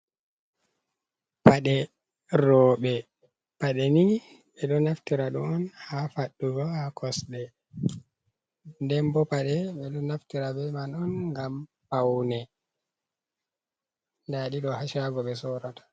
Paɗe roɓe, paɗe ni be ɗo naftira ɗo on ha faɗɗugo ha kosɗe. Ɗemɓo paɗe ɓe ɗo naftira ɓe man on ngam paune. Nɗaɗi ɗo ha sago ɓe sorata.